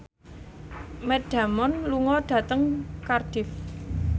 Matt Damon lunga dhateng Cardiff